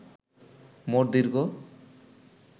মোট দৈর্ঘ্য